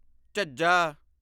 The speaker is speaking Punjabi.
ਝੱਝਾ